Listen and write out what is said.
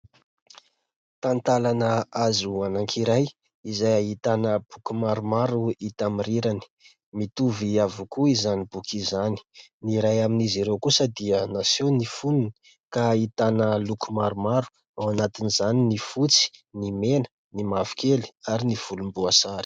Talantalana hazo anankiray izay ahitana boky maromaro hita amin'ny rirany. Mitovy avokoa izany boky izany. Ny iray amin'izy ireo kosa dia naseho ny fonony ka ahitana loko maromaro ao anatin'izany ny fotsy, ny mena, ny mavokely ary ny volomboasary.